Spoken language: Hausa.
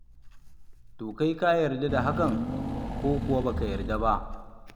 To kai ka yarda da hakan ko kuwa ba ka yarda ba?